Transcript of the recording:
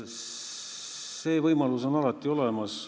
See võimalus on alati olemas.